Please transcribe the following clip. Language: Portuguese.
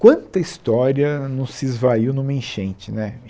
Quanta história não se esvaiu numa enchente né?